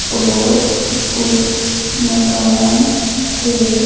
और उस मकान के--